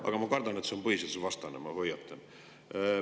Aga ma kardan, et see on põhiseadusvastane, ma hoiatan.